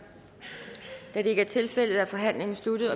da det ikke er tilfældet er forhandlingen sluttet